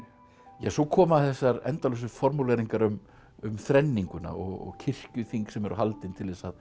svo koma þessar endalausu formúleringar um um þrenninguna og kirkjuþing sem eru haldin til þess að